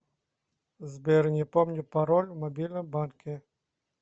сбер не помню пароль в мобильном банке